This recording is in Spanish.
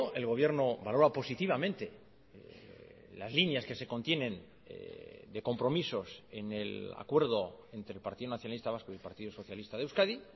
el gobierno valora positivamente las líneas que se contienen de compromisos en el acuerdo entre el partido nacionalista vasco y el partido socialista de euskadi